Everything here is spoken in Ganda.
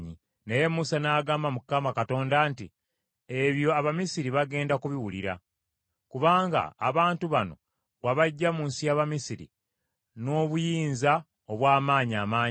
Naye Musa n’agamba Mukama Katonda nti, “Ebyo Abamisiri bagenda kubiwulira! Kubanga abantu bano wabaggya mu nsi y’Abamisiri n’obuyinza obw’amaanyi amangi.